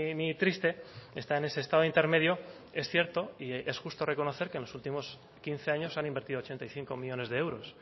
ni triste está en ese estado intermedio es cierto y es justo reconocer que en los últimos quince años han invertido ochenta y cinco millónes de euros